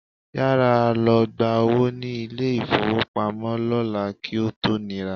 Yára lọ gba owó ní ilé-ìfówopamọ́ lọ́la kí ó tó nira